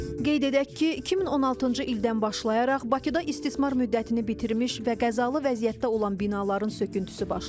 Qeyd edək ki, 2016-cı ildən başlayaraq Bakıda istismar müddətini bitirmiş və qəzalı vəziyyətdə olan binaların söküntüsü başlayıb.